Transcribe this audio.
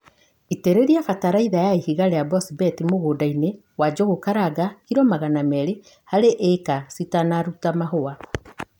itïrïria bataraitha ya ihiga rïa bosbeti mûndainï wa Njūgūkaranga kilo magana merĩ harï ïka citanaruta mahua.